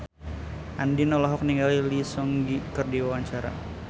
Andien olohok ningali Lee Seung Gi keur diwawancara